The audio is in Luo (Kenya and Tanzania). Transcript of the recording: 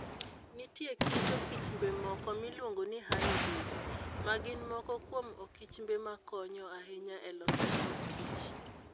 Nitie kit okichmbe moko miluongo ni honeybees, ma gin moko kuom okichmbe makonyo ahinya e loso mor kich.